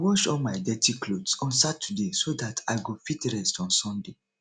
i go wash all my dirty clothes on saturday so dat i go fit rest on sunday